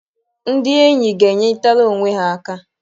Ndị enyi ga-enyeritara onwe ha aka.